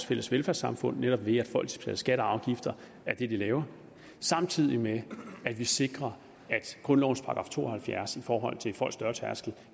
fælles velfærdssamfund netop ved at folk skal betale skatter og afgifter af det de laver samtidig med at vi sikrer at grundlovens § to og halvfjerds i forhold til folks dørtærskel